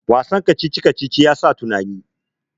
Wasan kacici-kacici ya sa tunani